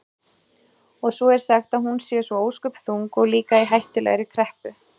Og svo er sagt að hún sé svo ósköp þung og líka í hættulegri kreppu.